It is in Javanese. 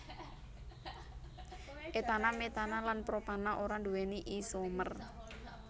etana metana lan propana ora nduwéni isomer